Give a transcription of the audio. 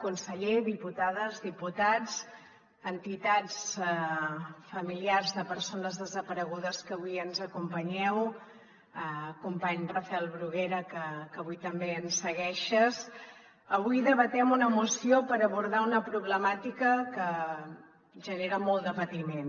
conseller diputades diputats entitats familiars de persones desaparegudes que avui ens acompanyeu company rafel bruguera que avui també ens segueixes avui debatem una moció per abordar una problemàtica que genera molt de patiment